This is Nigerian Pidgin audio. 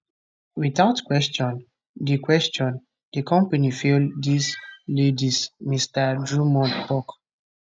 without question di question di company fail dis ladies mr drummond tok